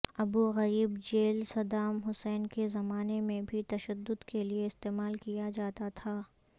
Abu Ghraib jail Saddam Hussein کے زمانے میں بھی تشدد کے لیے استعمال کیا جاتا تھا